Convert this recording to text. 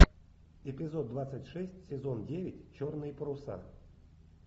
эпизод двадцать шесть сезон девять черные паруса